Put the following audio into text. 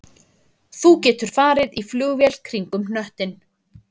Þú getur farið í flugvél kringum hnöttinn